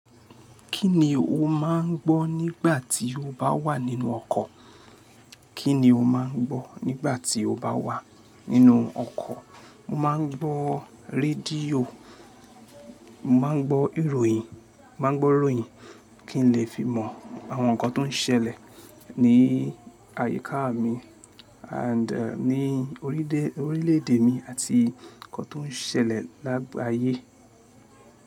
Kí ni o máà ń gbọ́ nígbà tí o bá wà nínú ọkọ̀? Kí ni o máà ń gbọ́ nígbà tí o bá wà nínú ọkọ̀? Mo máa ń gbọ́ rédíò, mo máa ń gbọ́ ìròyìn, mo máa ń gbọ́ ìròyìn kí n lè fi mọ àwọn nǹkan tó ń ṣẹlẹ̀ ní àyíká mi and ní orílè, orílè èdè mi àti nǹkan tó ń ṣẹlẹ̀ lágbaye.